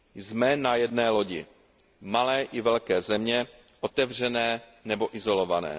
Jsme na jedné lodi, malé i velké země, otevřené nebo izolované.